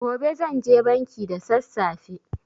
Gobe zanje banki da sassafe.